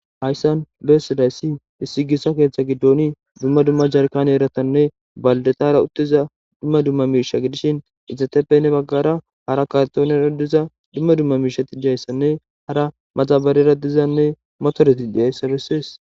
Hayssan lehessilayssi issi gissa keeththa giddoni dumma dumma jarkan eratanne baldetara uttiza dumma dumma miisha gidishin izateppenne baggara hara katone radiza dumma dumma miisha tijayssanne hara maxabarera dizanne motoreti di7ayssa bessees.